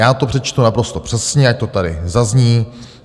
Já to přečtu naprosto přesně, ať to tady zazní.